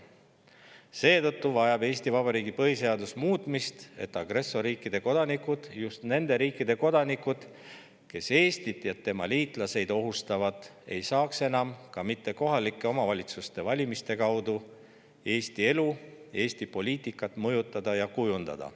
Seetõttu vajab Eesti Vabariigi põhiseadus muutmist, et agressorriikide kodanikud, just nende riikide kodanikud, kes Eestit ja tema liitlasi ohustavad, ei saaks ka mitte kohaliku omavalitsuse valimiste kaudu enam Eesti elu, Eesti poliitikat mõjutada ja kujundada.